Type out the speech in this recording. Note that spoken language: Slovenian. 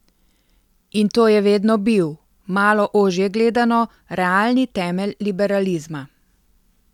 In to je vedno bil, malo ožje gledano, realni temelj liberalizma.